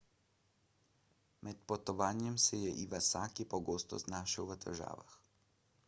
med potovanjem se je iwasaki pogosto znašel v težavah